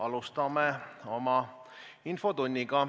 Alustame oma infotundi.